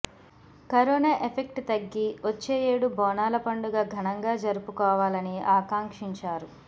corona effect తగ్గి వచ్చే ఏడు బోనాల పండుగ ఘనంగా జరుపుకోవాలని ఆకాంక్షించారు